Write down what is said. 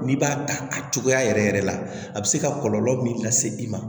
N'i b'a ta a cogoya yɛrɛ yɛrɛ la a bɛ se ka kɔlɔlɔ min lase i ma